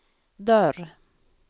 dörr